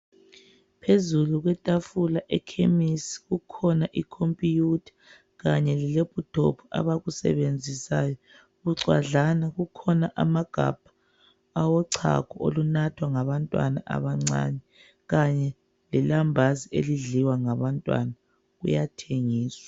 Phezulu ethafula ekhemesi kukhona okhomphiyutha kanye le lephuthophu abakusebenzisayo. Kuxwadlana kukhona amagabha awecago olunathwa ngabantwana abancane. Kanye le lambazi elidliwa ngabantwana liyathengiswa.